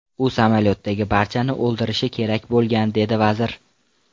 U samolyotdagi barchani o‘ldirishi kerak bo‘lgan”, dedi vazir.